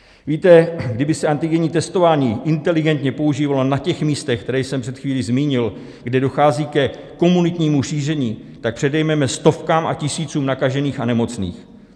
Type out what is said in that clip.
Víte, kdyby se antigenní testování inteligentně používalo na těch místech, která jsem před chvílí zmínil, kde dochází ke komunitnímu šíření, tak předejdeme stovkám a tisícům nakažených a nemocných.